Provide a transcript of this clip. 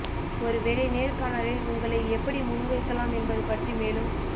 ஒரு வேலை நேர்காணலில் உங்களை எப்படி முன்வைக்கலாம் என்பது பற்றி மேலும்